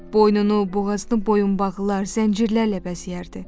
Boynunu, boğazını boyunbağlar, zəncirlərlə bəzəyərdi.